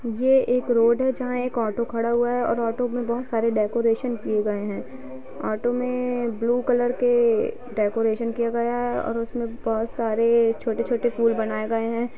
ये एक रोड है। जहाँ एक ऑटो खडा हुआ है। और ऑटो मे बोहोत सारे डेकोरेशन किए गए है। ऑटो में ब्लू कलर के डेकोरेशन किया गया है। और उस में बोहोत सारे छोटे-छोटे फूल बनाए गए है